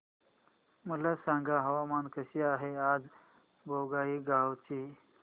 मला सांगा हवामान कसे आहे आज बोंगाईगांव चे